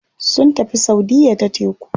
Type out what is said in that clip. Sun tafi saudiya ta teku.